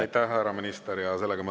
Aitäh, härra minister!